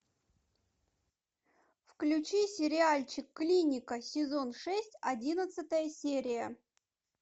включи сериальчик клиника сезон шесть одиннадцатая серия